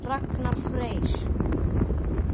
Ragnar Freyr.